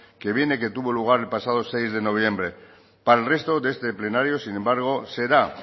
que viene que tuvo lugar el pasado seis de noviembre para el resto de este plenario sin embargo será